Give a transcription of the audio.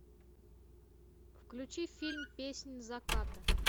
включи фильм песнь заката